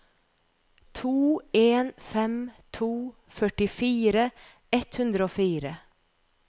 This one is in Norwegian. to en fem to førtifire ett hundre og fire